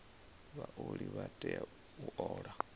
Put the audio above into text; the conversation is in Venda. vhaoli vha tea u ola